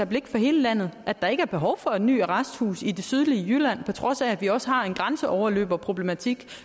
blik for hele landet at der ikke er behov for et nyt arresthus i det sydlige jylland på trods af at vi også har en grænseoverløberproblematik